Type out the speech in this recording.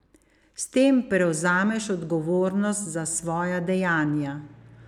S tem prevzameš odgovornost za svoja dejanja.